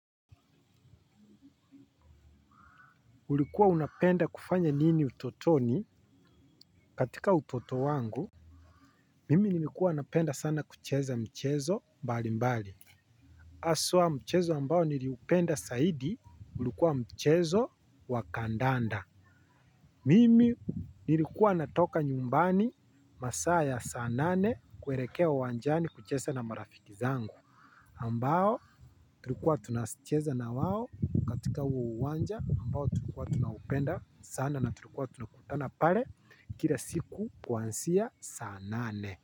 Ulikuwa unapenda kufanya nini utotoni katika utoto wangu mimi nilikuwa napenda sana kucheza mchezo mbali mbali. Aswa mchezo ambao niliupenda saidi ulikuwa mchezo wakandanda. Mimi nilikuwa natoka nyumbani masaa ya saa nane kuerekea uwanjani kucheza na marafiki zangu ambao tulikuwa tunacheza na wao katika uo uwanja ambao tulikuwa tunaupenda sana na tulikuwa tunakutana pare kila siku kuanzia saa nane.